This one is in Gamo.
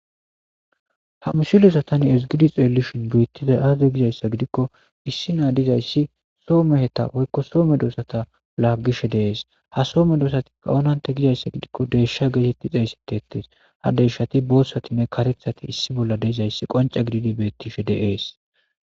Ha misileza ta ezgidi xellishin betizay azee?gizayssa giddiko issi naa dizayssi soho meheta woyko soho medosata laggishe de'es.ha soho medosati onantte gizayssa giddiko deyshata gettetes ha deyshati bothanee karethati issi de'izayssi qoncce giddidi bettes.